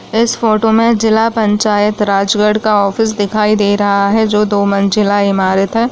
इस फोटो में जिला पंचायत राजगढ़ का ऑफिस दिखाई दे रहा है जो दो मंजिला इमारत है।